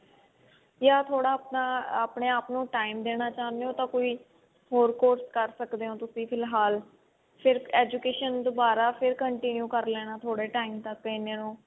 ਜਾ ਥੋੜਾ ਆਪਣਾ ਆਪਣੇ ਆਪ ਨੂੰ time ਦੇਣਾ ਚਾਹੁੰਦੇ ਹੋ ਤਾਂ ਕੋਈ ਹੋਰ course ਕਰ ਸਕਦੇ ਹੋ ਤੁਸੀਂ ਫਿਲਹਾਲ ਫੇਰ education ਦੁਬਾਰਾ ਫੇਰ continue ਕਰ ਲੇਣਾ ਥੋੜੇ time ਤੱਕ ਇਹਨੇ ਨੂੰ